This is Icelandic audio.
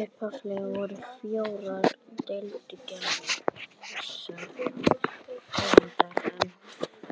Upphaflega voru fjórar deilitegundir þessarar tegundar